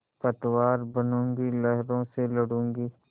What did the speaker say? पतवार बनूँगी लहरों से लडूँगी